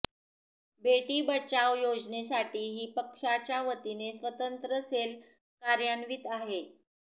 बेटी बचाव योजनेसाठीही पक्षाच्या वतीने स्वतंत्र सेल कार्यान्वित आहे